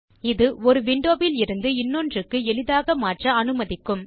இது ஒரு விண்டோ விலிருந்து இன்னொன்றுக்கு எளிதாக மாற்ற அனுமதிக்கும்